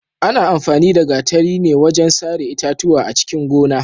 Ana amfani da gatari ne wajen sare itatuwa a cikin gona.